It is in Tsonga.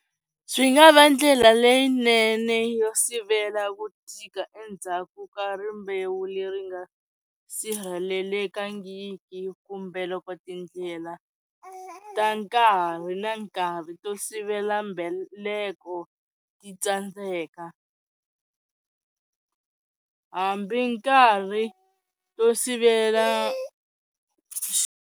Swi nga va ndlela leyinene yo sivela ku tika endzhaku ka rimbewu leri nga sirhelelekangiki kumbe loko tindlela ta nkarhi na nkarhi to sivela mbheleko ti tsandzeka hambi nkarhi to sivela.